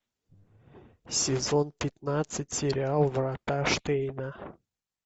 сезон пятнадцать сериал врата штейна